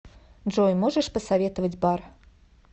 джой можешь посоветовать бар